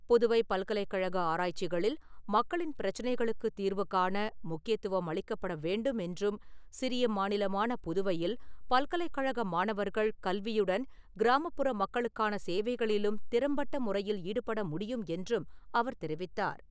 புதுவை பல்கலைக்கழக ஆராய்ச்சிகளில் மக்களின் பிரச்சனைகளுக்குத் தீர்வுகாண முக்கியத்துவம் அளிக்கப்பட வேண்டும் என்றும், சிறிய மாநிலமான புதுவையில் பல்கலைக் கழக மாணவர்கள் கல்வியுடன் கிராமப்புற மக்களுக்கான சேவைகளிலும் திறம்பட்ட முறையில் ஈடுபட முடியும் என்றும் அவர் தெரிவித்தார்.